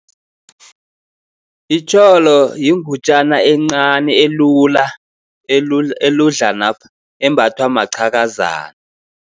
Itjholo yingutjanyana encani elula, eludlanapha embathwa maqhakazana.